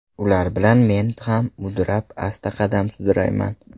Ular bilan Men ham mudrab, Asta qadam sudrayman.